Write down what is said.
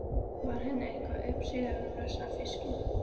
Var henni eitthvað uppsigað við blessaðan fiskinn?